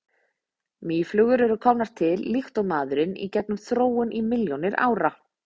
mýflugur eru komnar til líkt og maðurinn í gegnum þróun í milljónir ára